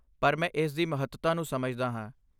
ਪਰ ਮੈਂ ਇਸ ਦੀ ਮਹੱਤਤਾ ਨੂੰ ਸਮਝਦਾ ਹਾਂ।